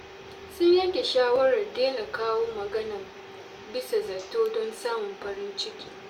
Sun yanke shawarar daina kawo magana bisa zato don samun farin ciki.